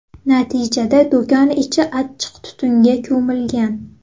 Natijada do‘kon ichi achchiq tutunga ko‘milgan.